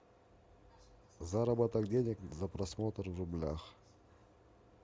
заработок денег за просмотр в рублях